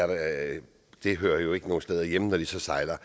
der og det hører jo ikke nogen steder hjemme når de så sejler